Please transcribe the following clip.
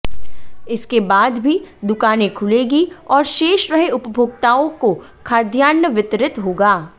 इसके बाद भी दुकाने खुलेगी और शेष रहे उपभोक्ताओं को खाद्यान्न वितरित होगा